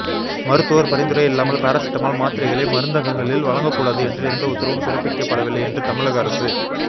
மருத்துவர் பரிந்துரை இல்லாமல் பாரசிட்டமால் மாத்திரைகளை மருந்துகங்களில் வழங்கக் கூடாது என்று எந்த உத்தரவும் பிறப்பிக்கப்படவில்லை என்று தமிழக அரசு